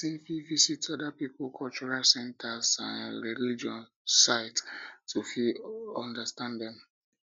person fit visit um oda pipo cultural centers and um religious um sites to fit understand dem